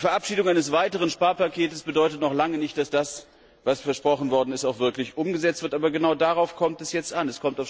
Die Verabschiedung eines weiteren Sparpakets bedeutet noch lange nicht, dass das, was versprochen ist, auch wirklich umgesetzt wird, aber genau darauf kommt es jetzt an.